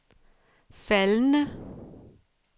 faldende